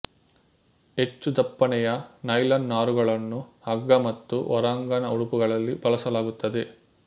ಹೆಚ್ಚು ದಪ್ಪನೆಯ ನೈಲಾನ್ ನಾರುಗಳನ್ನು ಹಗ್ಗ ಮತ್ತು ಹೊರಾಂಗಣ ಉಡುಪುಗಳಲ್ಲಿ ಬಳಸಲಾಗುತ್ತದೆ